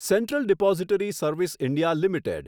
central depository service India limited